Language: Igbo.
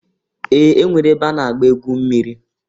Ee! E nwere ebe a na-egwu mmiri.